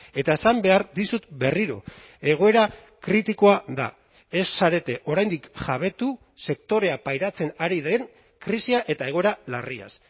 eta esan behar dizut berriro egoera kritikoa da ez zarete oraindik jabetu sektorea pairatzen ari den krisia eta egoera larriaz